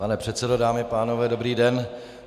Pane předsedo, dámy a pánové, dobrý den.